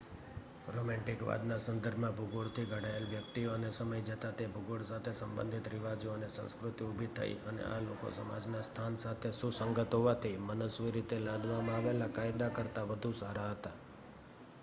રોમેન્ટિકવાદના સંદર્ભમાં ભૂગોળથી ઘડાયેલી વ્યક્તિઓ અને સમય જતાં તે ભૂગોળ સાથે સંબંધિત રિવાજો અને સંસ્કૃતિ ઊભી થઈ અને આ લોકો સમાજના સ્થાન સાથે સુસંગત હોવાથી મનસ્વી રીતે લાદવામાં આવેલા કાયદા કરતાં વધુ સારા હતા